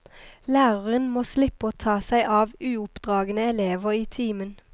Læreren må slippe å ta seg av uoppdragne elever i timen.